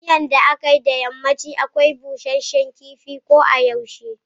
Miyan da akai a yammaci akwai Busashen kifi kodayaushe.